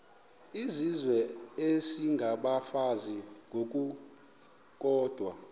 izizwe isengabafazi ngokukodwa